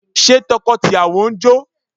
Ṣé tọkọ tìyàwó ń jó?